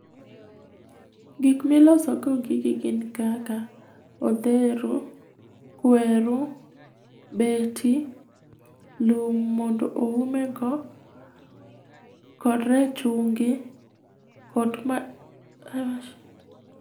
Gik milosogo gigi gin kaka odher, kweru, beti, lum mondo oume go, kod rachungi kod ma a...